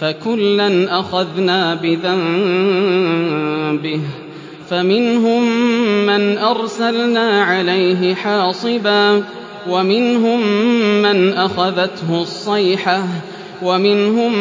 فَكُلًّا أَخَذْنَا بِذَنبِهِ ۖ فَمِنْهُم مَّنْ أَرْسَلْنَا عَلَيْهِ حَاصِبًا وَمِنْهُم مَّنْ أَخَذَتْهُ الصَّيْحَةُ وَمِنْهُم